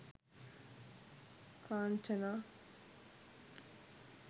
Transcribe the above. kanchana